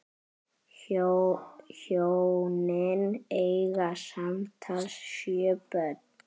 Hjónin eiga samtals sjö börn.